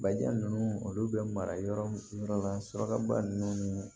Bajijan ninnu olu bɛ mara yɔrɔ min yɔrɔ la surakaba ninnu ni